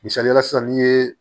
Misaliyala sisan ni ye